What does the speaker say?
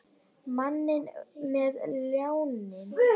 Manninn með ljáinn.